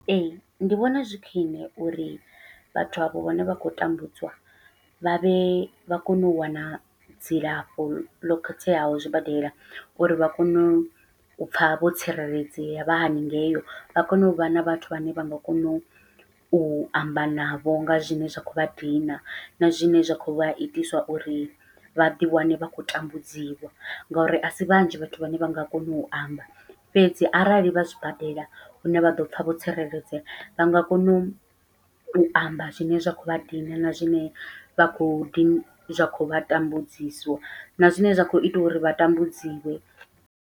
Ee ndi vhona zwi khwiṋe uri vhathu avho vhone vha khou tambudzwa vhavhe vha kone u wana dzilafho ḽo khetheaho zwibadela, uri vha kone u u pfha vho tsireledzea vha haningei vha kone uvha na vhathu vhane vha nga kona u u amba navho nga zwine zwa khou vha dina, na zwine zwa khou vha itisa uri vhaḓi wane vha khou tambudziwa. Ngauri asi vhanzhi vhathu vhane vha nga kona u amba fhedzi arali vha zwibadele hune vha ḓopfha vho tsireledzea, vha nga kona u u amba zwine zwa khou vha dina na zwine vha khou ḓi zwa khou vha tambudzisa, na zwine zwa khou ita uri vha tambudziwe.